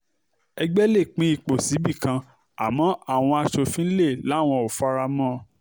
ẹgbẹ́ lè pín ipò síbì kan àmọ́ àwọn aṣòfin lè láwọn ò fara mọ́ ọn